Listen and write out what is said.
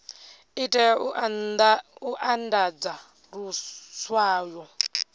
i tea u andadza luswayo